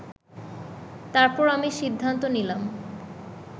তারপর আমি সিদ্ধান্ত নিলাম